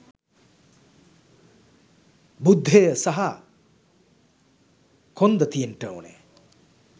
බුද්ධය සහ කොන්ද තියෙන්ට ඕනා.